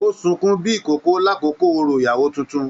O sunkún bíi ìkókó l'akoko òrò ìyàwó títún.